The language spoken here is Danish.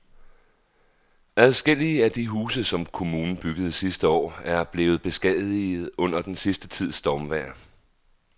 Adskillige af de huse, som kommunen byggede sidste år, er blevet beskadiget under den sidste tids stormvejr.